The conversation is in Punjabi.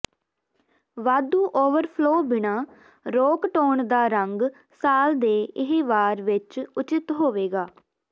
ਵਾਧੂ ਓਵਰਫਲੋ ਬਿਨਾ ਰੋਕ ਟੋਨ ਦਾ ਰੰਗ ਸਾਲ ਦੇ ਇਹ ਵਾਰ ਵਿੱਚ ਉਚਿਤ ਹੋਵੇਗਾ